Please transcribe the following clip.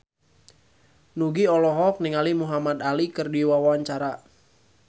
Nugie olohok ningali Muhamad Ali keur diwawancara